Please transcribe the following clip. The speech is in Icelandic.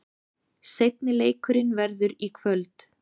Seinni leikurinn verður í kvöld.